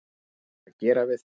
Búið er að gera við það.